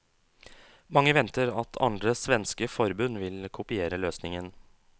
Mange venter at andre svenske forbund vil kopiere løsningen.